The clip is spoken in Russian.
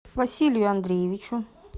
василию андреевичу